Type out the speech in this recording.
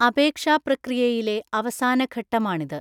അപേക്ഷാ പ്രക്രിയയിലെ അവസാന ഘട്ടമാണിത്.